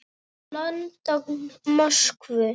London, Moskvu.